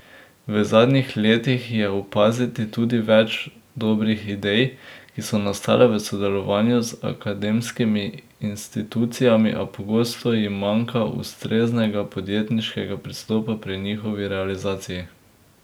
V zadnjih letih je opaziti tudi več dobrih idej, ki so nastale v sodelovanju z akademskimi institucijami, a pogosto jim manjka ustreznega podjetniškega pristopa pri njihovi realizaciji.